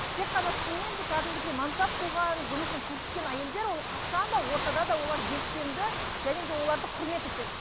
тек қана шынымен де кәдімгідей мансап қуған жұмысын көрсеткен әйелдер ол қашан да ортада да олар белсенді және де оларды құрмет етеді